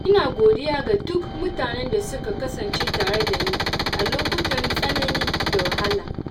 Ina godiya ga duk mutanen da suka kasance tare da ni a lokutan tsanani da wahala.